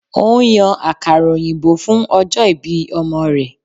Ó ń yan àkàrà òyìnbó fún ọjọ́ ìbí ọmọ rẹ̀